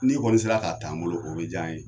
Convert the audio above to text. N'i kɔni sera k'a taa an bolo o be jan ye